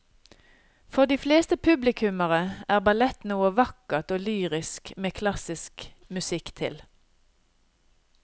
For de fleste publikummere er ballett noe vakkert og lyrisk med klassisk musikk til.